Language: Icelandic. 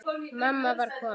Mamma var komin.